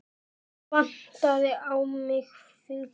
Vantaði á mig fingur?